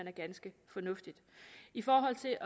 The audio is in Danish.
er ganske fornuftigt i forhold til